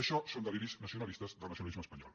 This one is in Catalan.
això són deliris nacionalistes del nacionalisme espanyol